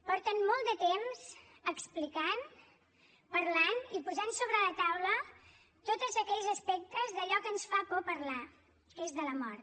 porten molt de temps explicant parlant i posant sobre la taula tots aquells aspectes d’allò que ens fa por parlar que és de la mort